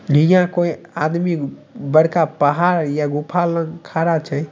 यह कोई आदमी बड़का पहाड़ या गुफा ल खड़ा छे।